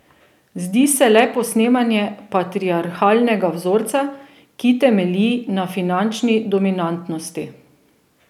Zdi se le posnemanje patriarhalnega vzorca, ki temelji na finančni dominantnosti.